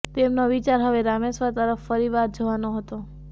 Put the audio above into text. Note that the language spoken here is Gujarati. તેમનો વિચાર હવે રામેશ્વર તરફ ફરી વાર જવાનો હતો